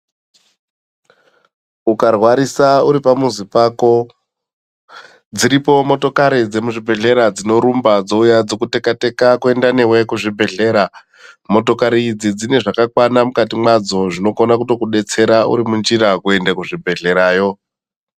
Ukarwarisa uripamuzi pako, dziripo motokari dzemuzvibhedhlera dzinorumba dzouya dzokuteka-teka kuenda newe kuzvibhedhlera. Motokari idzi dzine zvakakwana mukati mwadzo zvinokone kuto kudetsera uri munzira kuende kuchibhedhlerayo.